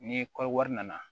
Ni kɔɔri wari nana